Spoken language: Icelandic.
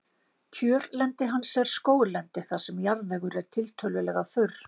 Kjörlendi hans er skóglendi þar sem jarðvegur er tiltölulega þurr.